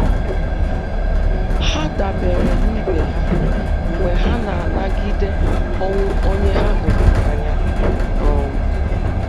Ha dabere n'ibè ha mgbe ha na-anagide ọnwụ onye ha hụrụ n'anya. um